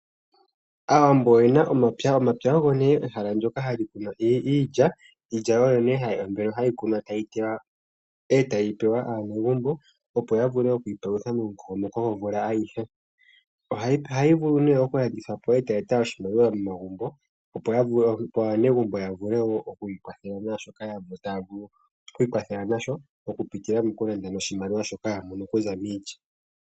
Aawambo oyena omapya, omapya ogo ne ehala ndyoka hali kunwa iilya ,iilya oyo nee hayi kunwa etayi tewa etayi pewa aanegumbo opo ya vule okwi palutha momukokomoko gomvula ayihe ohayi vulu oku landithwapo etayi eta oshimaliwa momagumbo opo aanegumbo ya vulewo okwi kwathela nashoka ta vulu okwikwathela nasho oku pitila mokulanda noshimaliwa shoka yamono okuza miilya.